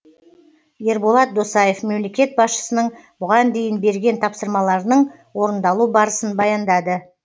ерболат досаев мемлекет басшысының бұған дейін берген тапсырмаларының орындалу барысын баяндады